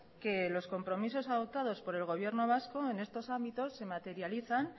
que los compromisos adoptados por el gobierno vasco en estos ámbitos se materializan